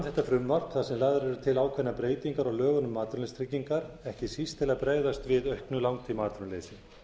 þetta frumvarp þar sem lagðar eru til ákveðnar breytingar á lögum um atvinnuleysistryggingar ekki síst til að bregðast við auknu langtímaatvinnuleysi